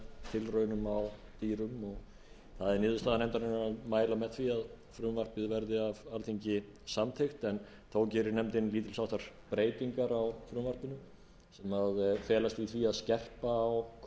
tilraunum á dýrum það er niðurstaða nefndarinnar að mæla með því að frumvarpið verði af alþingi samþykkt en þó gerir nefndin lítils háttar breytingar á frumvarpinu sem felast í því að skerpa á kröfum